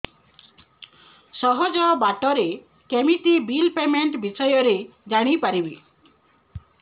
ସହଜ ବାଟ ରେ କେମିତି ବିଲ୍ ପେମେଣ୍ଟ ବିଷୟ ରେ ଜାଣି ପାରିବି